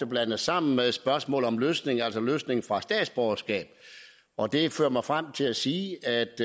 blandet sammen med spørgsmål om løsning altså løsning fra statsborgerskab og det fører mig frem til at sige